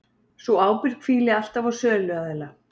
Sú ábyrgð hvíli alltaf á söluaðila